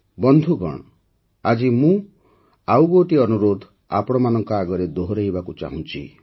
ବନ୍ଧୁଗଣ ଆଜି ମୁଁ ମୋର ଆଉ ଗୋଟିଏ ଅନୁରୋଧ ଆପଣମାନଙ୍କ ଆଗରେ ଦୋହରାଇବାକୁ ଚାହୁଁଛି